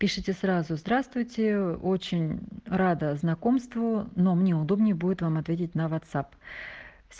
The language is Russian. пишите сразу здравствуйте ээ очень мм рада знакомству но мне удобнее будет вам ответить на вотсап